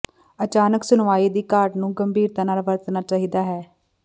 ਅਚਾਨਕ ਸੁਣਵਾਈ ਦੀ ਘਾਟ ਨੂੰ ਗੰਭੀਰਤਾ ਨਾਲ਼ ਵਰਤਣਾ ਚਾਹੀਦਾ ਹੈ